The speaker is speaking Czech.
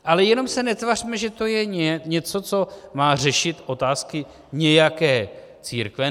Ale jenom se netvařme, že to je něco, co má řešit otázky nějaké církve.